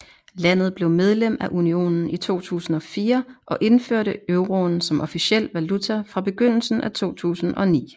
Landet blev medlem af unionen i 2004 og indførte euroen som officiel valuta fra begyndelsen af 2009